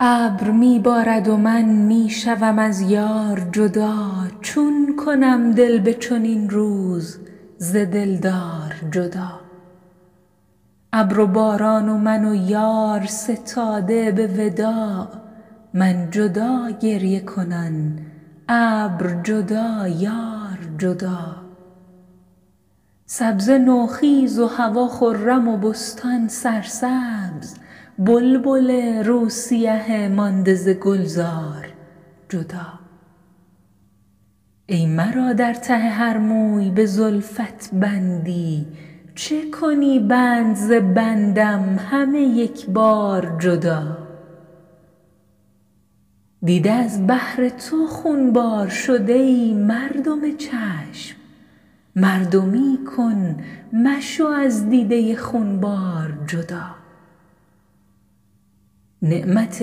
ابر می بارد و من می شوم از یار جدا چون کنم دل به چنین روز ز دلدار جدا ابر و باران و من و یار ستاده به وداع من جدا گریه کنان ابر جدا یار جدا سبزه نوخیز و هوا خرم و بستان سرسبز بلبل روی سیه مانده ز گلزار جدا ای مرا در ته هر موی به زلفت بندی چه کنی بند ز بندم همه یکبار جدا دیده از بهر تو خونبار شد ای مردم چشم مردمی کن مشو از دیده خونبار جدا نعمت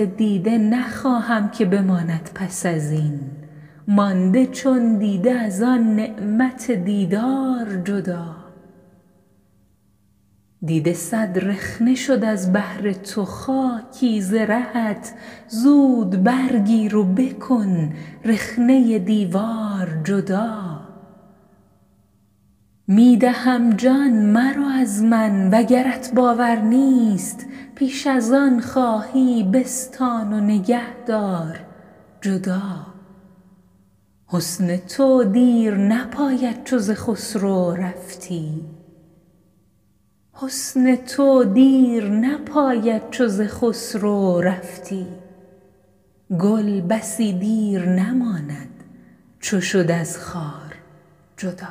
دیده نخواهم که بماند پس از این مانده چون دیده از آن نعمت دیدار جدا دیده صد رخنه شد از بهر تو خاکی ز رهت زود برگیر و بکن رخنه دیوار جدا می دهم جان مرو از من وگرت باور نیست پیش از آن خواهی بستان و نگهدار جدا حسن تو دیر نپاید چو ز خسرو رفتی گل بسی دیر نماند چو شد از خار جدا